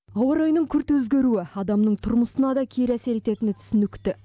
ауа райының күрт өзгеруі адамның тұрмысына да кері әсер ететіні түсінікті